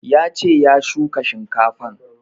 Ya ce ya shuka shinkafan